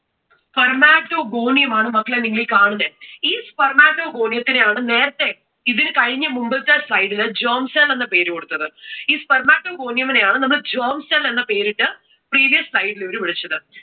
spermatogonium ആണ് മക്കളെ നിങ്ങൾ ഈ കാണുന്നെ. ഈ spermatogonium ത്തിനെആണ് നേരത്തെ ഇതിനു കഴിഞ്ഞ മുമ്പത്തെ slide ൽ germ cell എന്ന പേര് കൊടുത്തത്. ഈ spermatogonium നെ ആണ് നമ്മൾ germ cell എന്ന പേരിട്ടു previous slide ഇൽ വിളിച്ചത്.